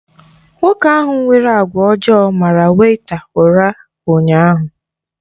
Nwoke ahụ nwere àgwà ọjọọ mara wèịta ura ụnyaahụ.